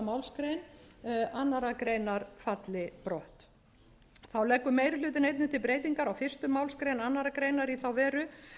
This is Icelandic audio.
málsgrein annarrar falli brott þá leggur meiri hlutinn einnig til breytingar á fyrstu málsgrein annarrar greinar í þá veru